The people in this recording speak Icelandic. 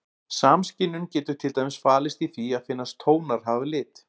Samskynjun getur til dæmis falist í því að finnast tónar hafa lit.